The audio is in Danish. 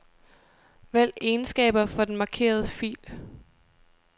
Vælg egenskaber for den markerede fil.